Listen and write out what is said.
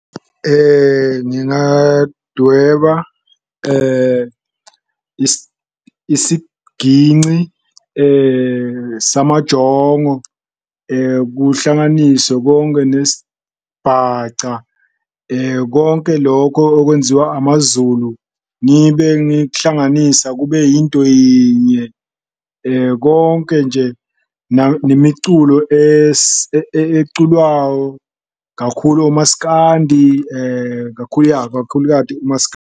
Ngingadweba isiginci samajongo kuhlanganiswe konke nesibhaca, konke loko okwenziwa amaZulu, ngibe ngikuhlanganisa kube yinto yinye. Konke nje nemiculo eculwawo kakhulu o-masikandi kakhulu, ya kakhulu kati .